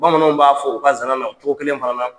Bamananw b'a fɔ u ka zana na ko ginɛ banna